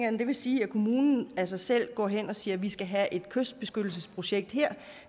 at det vil sige at kommunen af sig selv går hen og siger at vi skal have et kystbeskyttelsesprojekt her